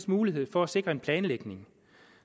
mulighed for at sikre en planlægning